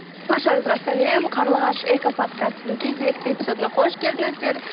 баршаңызға сәлем қарлығаш экоподкастының кезекті эпизодына қош келдіңіздер